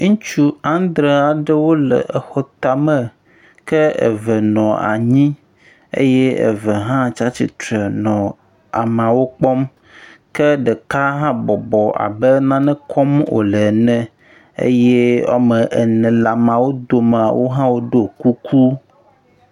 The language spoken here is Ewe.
Ŋutsu andre aɖewo le exɔ tame ke eve nɔ anyi eye eve hã tsi atsitre nɔ ameawo kpɔm. Ke ɖeka hã bɔbɔ abe nane kɔm wòle ene eye wome ene le ameawo dome wo hã woɖo kuku.